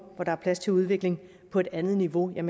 hvor der er plads til udvikling på et andet niveau er